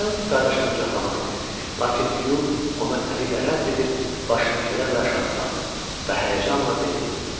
Miles qardaşını qucaqlamaq istəyirdi, lakin Huy onu əli ilə rədd edib başını kədərlə aşağı saldı və həyəcanla dedi.